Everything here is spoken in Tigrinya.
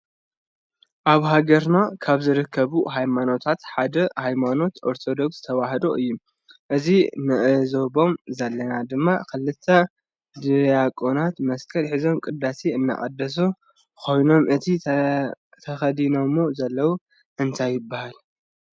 አብ ሃገርና ካብ ዝርከቡ ሃይማኖታት ሓደ ሃይማኖት አርቶዶክስ ተዋህዶ እዩ ።እዚም ንዕዞቦም ዘለና ድማ ክልተ ዳቅናት መስቀል ሕዞም ቅዳሴ እናቀደሱ ኮይኖም እቲ ተከዲነምዎ ዘለዉ እንታይ ይበሃል?